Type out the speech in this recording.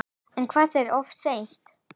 En verður það of seint?